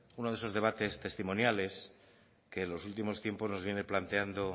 uno de esos debates testimoniales que en los últimos tiempos nos viene planteando